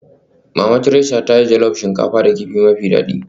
Mama Theresa ta yi jollof shinkafa da kifi mafi daɗi